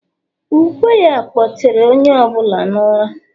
ukwe ya, kpọtere onye ọ bụla n’ụra